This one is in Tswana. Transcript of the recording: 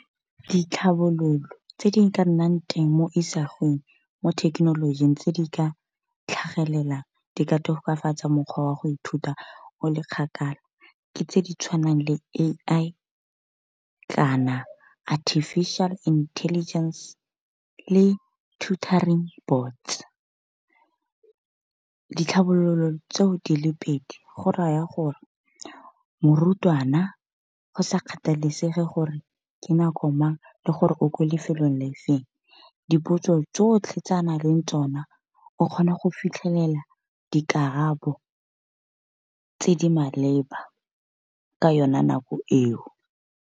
Ditlhabololo tse di ka nnang teng mo isagong mo thekenolojing tse di ka tlhagelelang di ka tokafatsa mokgwa wa go ithuta o le kgakala tse di tshwanang le A_I kana artificial intelligence le turtoring boards. Ditlhabololo tseo di le pedi go raya gore morutwana go sa kgathalesege gore ke nako mang le gore o ko lefelong, le le feng dipotso tsotlhe tsa na leng tsona o kgona go fitlhelela dikarabo tse di maleba ka yone nako eo.